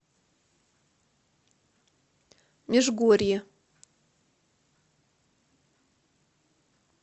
межгорье